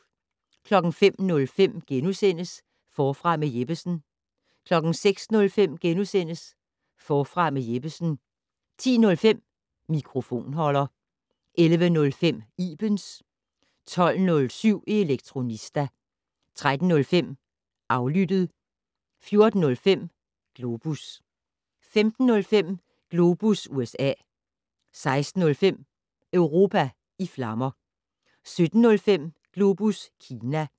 05:05: Forfra med Jeppesen * 06:05: Forfra med Jeppesen * 10:05: Mikrofonholder 11:05: Ibens 12:07: Elektronista 13:05: Aflyttet 14:05: Globus 15:05: Globus USA 16:05: Europa i flammer 17:05: Globus Kina